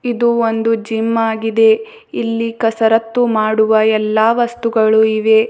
ಇದು ಒಂದು ಜಿಮ್ ಆಗಿದೆ ಇಲ್ಲಿ ಕಸರತ್ತು ಮಾಡುವ ಎಲ್ಲಾ ವಸ್ತುಗಳು ಇವೆ.